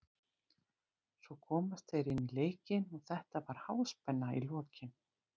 Svo komast þeir inn í leikinn og þetta var háspenna í lokin.